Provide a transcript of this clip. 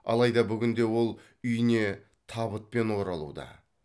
алайда бүгінде ол үйіне табытпен оралуда